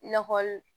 I n'a fɔ